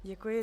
Děkuji.